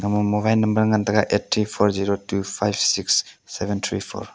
ima mobine number ngantaga eight three four zero two five six seven three four .